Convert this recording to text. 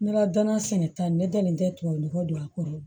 Ne ka dana sɛnɛ ta ne dalen tɛ tubabu nɔgɔ don a kɔrɔ